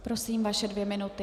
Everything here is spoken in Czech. Prosím, vaše dvě minuty.